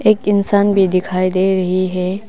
एक इंसान भी दिखाई दे रही है।